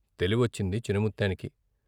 తెలివొచ్చింది చిన ము త్తేనికి.